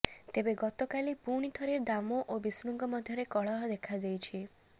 ତେବେ ଗତକାଲି ପୁଣି ଥରେ ଦାମ ଓ ବିଷ୍ଣୁଙ୍କ ମଧ୍ୟରେ କଳହ ଦେଖାଯାଇଛି